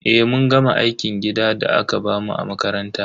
Eh, mun gama aikin gidan da aka bamu a makaranta.